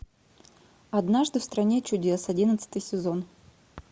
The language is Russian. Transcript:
однажды в стране чудес одиннадцатый сезон